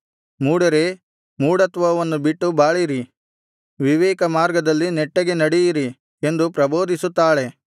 ಮೂಢರೇ ಮೂಢತ್ವವನ್ನು ಬಿಟ್ಟು ಬಾಳಿರಿ ವಿವೇಕಮಾರ್ಗದಲ್ಲಿ ನೆಟ್ಟಗೆ ನಡೆಯಿರಿ ಎಂದು ಪ್ರಬೋಧಿಸುತ್ತಾಳೆ